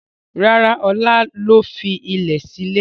Rárá, Ọlá ló fi ilẹ̀ sílè.